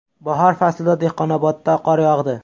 Bahor faslida Dehqonobodda qor yog‘di.